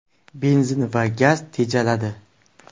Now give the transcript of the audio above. Benzin va gaz tejaladi.